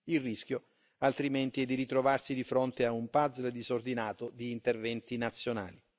Il rischio, altrimenti, è di ritrovarsi di fronte a un puzzle disordinato di interventi nazionali.